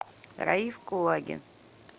раиф кулагин